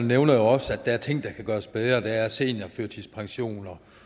nævner jo også at der er ting der kan gøres bedre der er seniorførtidspension